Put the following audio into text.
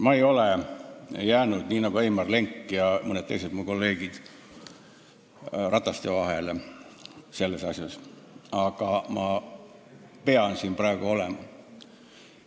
Ma ei ole jäänud nii nagu Heimar Lenk ja mõned teised mu kolleegid selles asjas elu hammasrataste vahele, aga ma pean siin praegu olema.